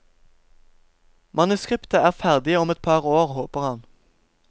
Manuskriptet er ferdig om et par år, håper han.